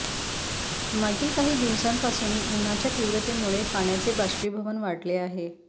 मागील काही दिवसांपासून उन्हाच्या तीव्रतेमुळे पाण्याचे बाष्पीभवन वाढले आहे